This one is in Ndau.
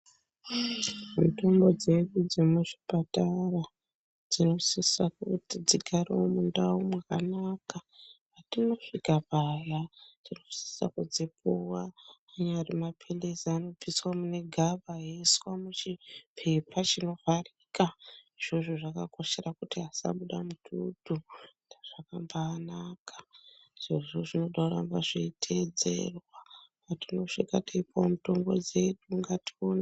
Mitombo dzedu dzemuzvipatara dzinosisa kuti dzigarewo mundau mwakanaka patinosvika paya tinosisa kudzipuwa anyari mapilizi anobviswa mune gaba eiswa muchipepa chinovharika. Izvozvo zvakakoshera kuti asabude mututu zvakambanaka izvozvo zvinoda kuramba zveiteedzerwa patinosvika teipuwa mitombo dzedu ngatione.